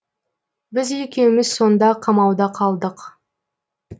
біз екеуміз сонда қамауда қалдық